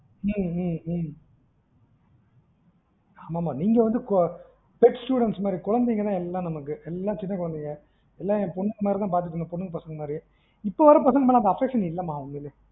ம்ம்ம்ம் ஆமா மா நீங்க வந்து கொ pet students மாறி கொழந்தைங்க தான் எல்லாம் நமக்கு எல்லாம் சின்ன கொழந்தைங்க, எல்லாம் என் பொண்ணுங்க மாறி தான் பாத்துட்டு இருந்தன் சொந்த பொண்ணுங்க மாறி இப்போ வர்ற பசங்க மேல affection இல்ல மா உண்மையிலேயே ம்ம்